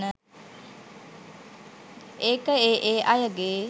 ඒක ඒ ඒ අයගේ